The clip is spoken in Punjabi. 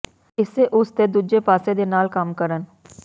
ਇਸੇ ਉਸ ਦੇ ਦੂਜੇ ਪਾਸੇ ਦੇ ਨਾਲ ਕੰਮ ਕਰਨ